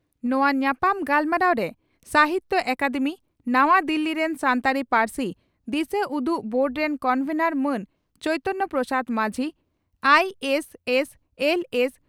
ᱱᱚᱣᱟ ᱧᱟᱯᱟᱢ ᱜᱟᱞᱢᱟᱨᱟᱣᱨᱮ ᱥᱟᱦᱤᱛᱭᱚ ᱟᱠᱟᱫᱮᱢᱤ, ᱱᱟᱣᱟ ᱫᱤᱞᱤ ᱨᱮᱱ ᱥᱟᱱᱛᱟᱲᱤ ᱯᱟᱹᱨᱥᱤ ᱫᱤᱥᱟᱹᱩᱫᱩᱜ ᱵᱳᱨᱰ ᱨᱮᱱ ᱠᱚᱱᱵᱷᱮᱱᱚᱨ ᱢᱟᱱ ᱪᱚᱭᱤᱛᱚᱱ ᱯᱨᱚᱥᱟᱫᱽ ᱢᱟᱹᱡᱷᱤ, ᱟᱹᱥᱹᱥᱹᱞᱹᱥᱹ